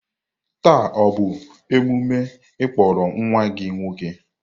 Taa ọ bụ emume ịkpọrọ nwa gị nwoke?